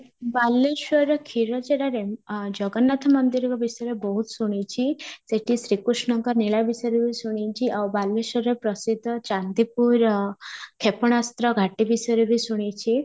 ବାଲେଶ୍ୱରର କ୍ଷୀରଚୋରା ଆଁ ଜଗନ୍ନାଥ ମନ୍ଦିରଙ୍କ ବିଷୟରେ ବହୁତ ଶୁଣିଛି, ସେଇଠି ଶ୍ରୀକୃଷ୍ଣଙ୍କ ଲୀଳା ବିଷୟରେ ବି ବହୁତ ଶୁଣିଛି ଆଉ ବାଲେଶ୍ୱରର ପ୍ରସିଦ୍ଧ ଚାନ୍ଦିପୁରର କ୍ଷେପଣାସ୍ତ୍ର ଘାଟି ବିଷୟରେ ବି ଶୁଣିଛି